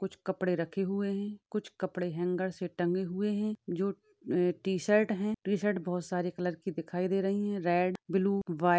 कुछ कपडे रखे हुवे है कुछ कपडे हँगरसे टंगे हुवे है जो अ टी-शर्ट है वो बहूत सारी कलर कि दिखाई दे रही हैं रेड ब्लू व्हाईट --